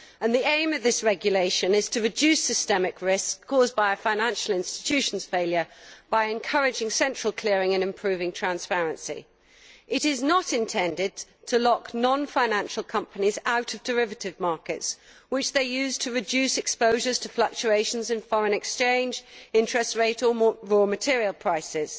The aim of this regulation is to reduce systemic risk caused by a financial institution's failure by encouraging central clearing and improving transparency. It is not intended to lock non financial companies out of derivative markets, which they use to reduce exposures to fluctuations in foreign exchange, interest rates or raw material prices.